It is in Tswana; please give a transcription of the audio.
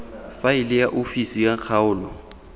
faele ya ofisi ya kgaolo